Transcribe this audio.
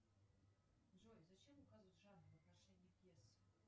джой зачем указывать жанр в отношении пьесы